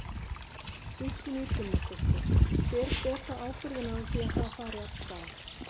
Kristín Ýr Gunnarsdóttir: Hver ber þá ábyrgðina á því að það fari af stað?